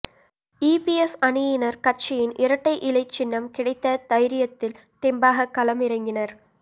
EPS அணியினர் கட்சியின் இரட்டை இலை சின்னம் கிடைத்த தைரியத்தில் தெம்பாக களமிறங்கினர்